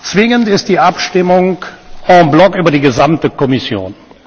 Zwingend ist die Abstimmung über die gesamte Kommission.